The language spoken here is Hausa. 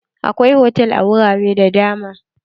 Akwai hotal a wurare da dama.